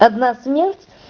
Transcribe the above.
одна смерть